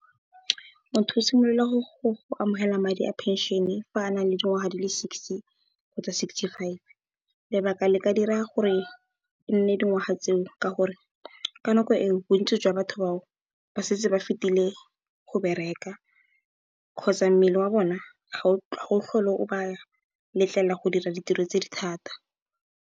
Motho o simolola go amogela madi a phenšene fa a na le dingwaga di le sixty kgotsa sixty five. Lebaka le ka dirang gore e nne dingwaga tseo, ke gore ka nako e o bontsi jwa batho bao ba setse ba fetile go bereka kgotsa mmele wa bona ga o tlhole o ba letlelela go dira ditiro tse di thata.